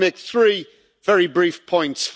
I want to make three very brief points.